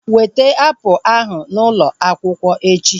Weta apụl ahu n'ụlọ akwụkwọ echi!